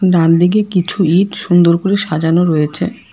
ডানদিকে কিছু ইঁট সুন্দর করে সাজানো রয়েছে।